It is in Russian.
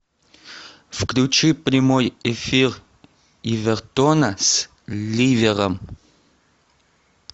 включи прямой эфир эвертона с ливером